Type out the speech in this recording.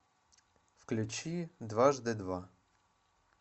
включи дважды два